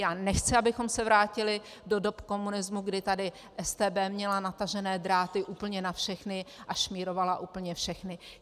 Já nechci, abychom se vrátili do doby komunismu, kdy tady StB měla natažené dráty úplně na všechny a šmírovala úplně všechny.